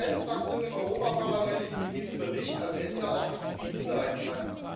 Es gibt ja keine Fraktion im Europäischen Parlament, die mit diesem Bericht am Ende auch zufrieden sein kann.